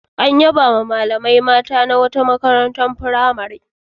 An yabawa malamai mata ta wata makarantar fimare.